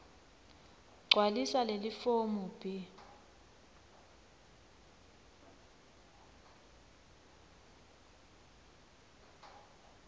gcwalisa lelifomu b